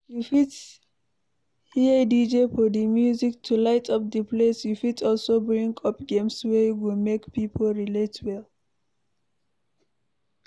You fit hire DJ for di music to light up the place you fit also bring up games wey go make pipo relate well